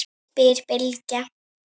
spyr Bylgja.